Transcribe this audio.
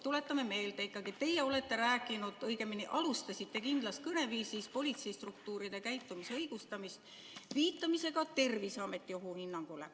Tuletame meelde, et te rääkisite, õigemini õigustasite kindlas kõneviisis politseistruktuuride käitumist, viidates Terviseameti ohuhinnangule.